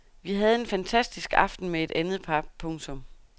Vi havde en fantastisk aften med et andet par. punktum